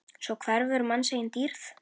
Svo hverfur manns eigin dýrð.